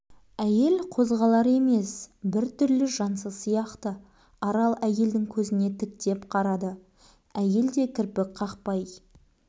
әйел қозғалар емес бір түрлі жансыз сияқты арал әйелдің көзіне тіктеп қарады әйел де кірпік қақпай